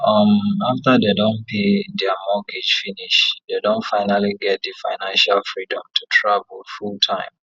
um after dem don pay their mortgage finish dem don finally get the financial freedom to travel fulltime